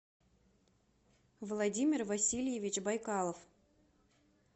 владимир васильевич байкалов